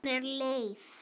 Hún er leið.